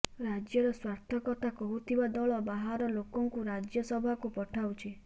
ରାଜ୍ୟର ସ୍ୱାର୍ଥ କଥା କହୁଥିବା ଦଳ ବାହାର ଲୋକଙ୍କୁ ରାଜ୍ୟସଭାକୁ ପଠାଉଛି